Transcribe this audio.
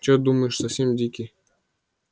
чё думаешь совсем дикий